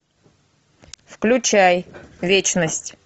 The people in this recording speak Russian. включай вечность